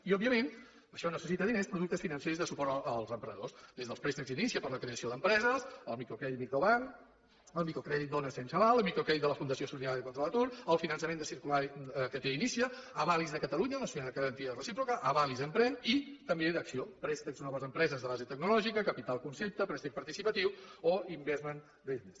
i òbviament això necessita diners productes financers de suport als emprenedors des dels préstecs inicia per a la creació d’empreses el microcrèdit microbank el microcrèdit dones sense aval el microcrèdit de la fundació solidària contra l’atur el finançament de circular que té inicia avalis de catalunya la societat de garantia recíproca avalis emprèn i també d’acc1ó préstecs noves empreses de base tecnològica capital concepte préstec participatiu o investment business